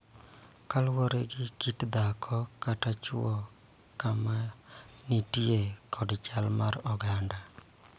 Kaluwore gi kit dhako kata chwo, kama entie, kod chal mar oganda